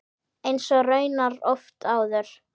Eins og raunar oft áður.